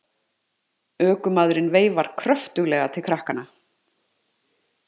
Ökumaðurinn veifar kröftuglega til krakkanna.